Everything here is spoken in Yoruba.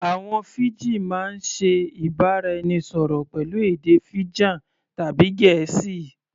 Àwọn Fiji máa ń ṣe ìbára-ẹnisọ̀rọ̀ pẹ̀lú èdè Fijan tàbí Gẹ̀ẹ́sì